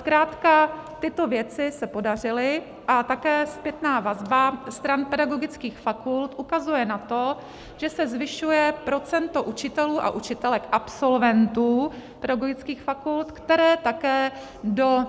Zkrátka tyto věci se podařily a také zpětná vazba stran pedagogických fakult ukazuje na to, že se zvyšuje procento učitelů a učitelek, absolventů pedagogických fakult, kteří také do